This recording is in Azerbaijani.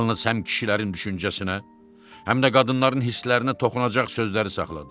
Yalnız həm kişilərin düşüncəsinə, həm də qadınların hisslərinə toxunacaq sözləri saxladı.